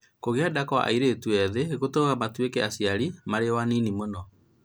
Kũgĩa nda kwa airĩtu ethĩ gũtũmaga matuĩke aciari marĩ o anini mũno.